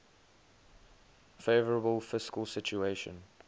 favourable fiscal situation